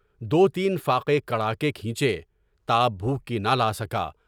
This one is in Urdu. دو تین فاقے کڑھا کے کھینچے، تاب بھوک کی نہ لا سکا۔